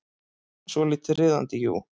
Svolítið riðandi, jú.